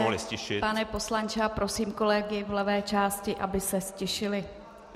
Omlouvám se, pane poslanče, a prosím kolegy v levé části, aby se ztišili.